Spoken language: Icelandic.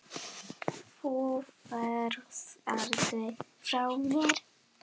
Þú ferð aldrei frá mér.